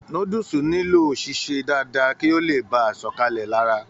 Núdúsí nilo sise dáadáa kí o le baà sọkalẹ lára.